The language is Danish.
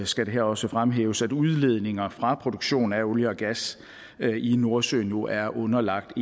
skal det også fremhæves her at udledninger fra produktion af olie og gas i nordsøen nu er underlagt